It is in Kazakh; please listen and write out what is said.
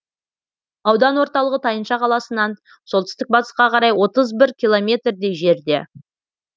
аудан орталығы тайынша қаласынан солтүстік батысқа қарай отыз бір километрдей жерде